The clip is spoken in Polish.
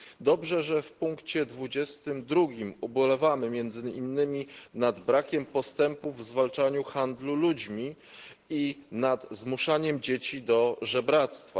Dobrze, że w punkcie 22 ubolewamy między innymi nad brakiem postępów w zwalczaniu handlu ludźmi i nad zmuszaniem dzieci do żebractwa.